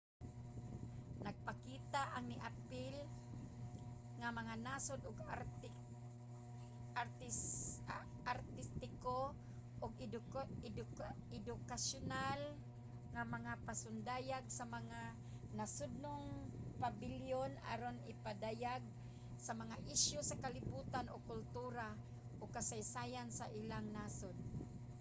nagpakita ang niapil nga mga nasod og artistiko ug edukasyonal nga mga pasundayag sa mga nasodnong pabilyon aron ipadayag ang mga isyu sa kalibotan o kultura ug kasaysayan sa ilang nasod